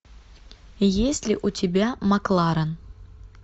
есть ли у тебя макларен